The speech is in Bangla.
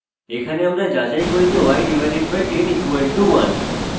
এখানে আমরা যাচাই করি যে y/10 = 1